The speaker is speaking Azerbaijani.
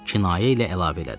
Kinayə ilə əlavə elədi.